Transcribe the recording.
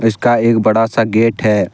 उसका एक बड़ा सा गेट है।